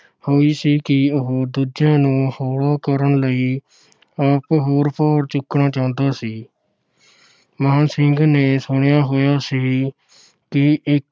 ਹੋਈ ਸੀ ਕਿ ਉਹ ਦੂਜਿਆਂ ਨੂੰ ਹੋਲਾ ਕਰਨ ਲਈ ਆਪ ਹੋਰ ਭਾਰ ਚੁੱਕਣਾ ਚਾਹੁੰਦਾ ਸੀ। ਮਾਣ ਸਿੰਘ ਨੇ ਸੁਣਿਆ ਹੋਈਆ ਸੀ ਕਿ ਇਕ